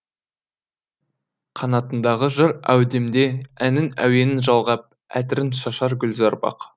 қанатындағы жыр әудемде әннің әуенін жалғап әтірін шашар гүлзар бақ